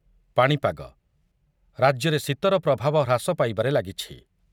ପାଣିପାଗ, ରାଜ୍ୟରେ ଶୀତର ପ୍ରଭାବ ହ୍ରାସ ପାଇବାରେ ଲାଗିଛି।